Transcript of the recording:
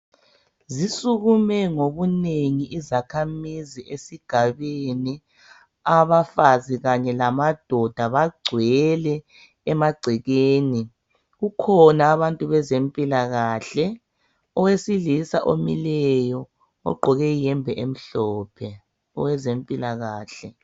Zisukume ngobunengi izakhamizi esigabeni abafazi kanye lamadoda bagcwele emagcekeni kukhona abantu bezempilakahle owesilisa omileyo ogqoke iyembe emhlophe owezempilakahle.